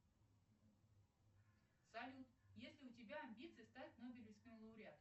салют есть ли у тебя амбиции стать нобелевским лауреатом